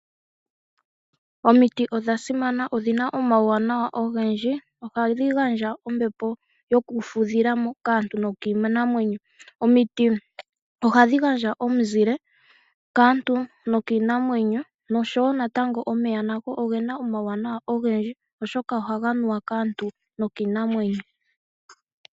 Omiti odha simana oshoka odhina omauwanawa ogendji, ohadhi gandja ombepo yokufudhilamo kaantu no kiinamwenyo, ohadhi gandja woo omuzile kaantu no kii namwenyo. Omeya ogena uuwanawa owundji oshoka ohaga nuwa kaantu no kiinamwenyo.